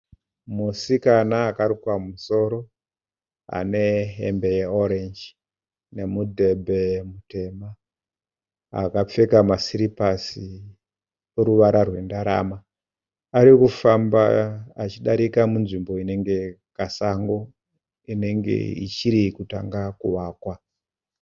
Musikana akarukwa musoro anehembe yeorenji nemudhebhe mutema akapfeka masiripasi oruvara rwendarama arikufamba achidarika munzvimbo inenge kasango inenge ichirrikutanga kuvakwa.